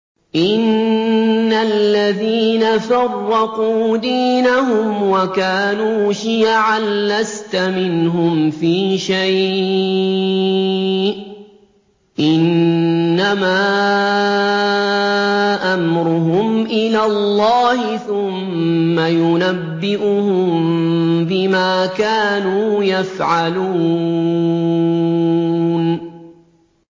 إِنَّ الَّذِينَ فَرَّقُوا دِينَهُمْ وَكَانُوا شِيَعًا لَّسْتَ مِنْهُمْ فِي شَيْءٍ ۚ إِنَّمَا أَمْرُهُمْ إِلَى اللَّهِ ثُمَّ يُنَبِّئُهُم بِمَا كَانُوا يَفْعَلُونَ